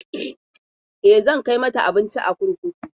E, zan kai mata abinci a kurkuku.